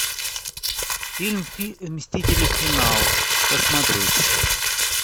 фильм мстители финал посмотреть